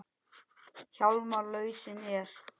Hjálmar lausnin er.